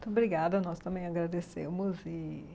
Muito obrigada, nós também agradecemos. E...